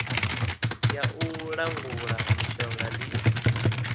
ya u langula mishonga ndi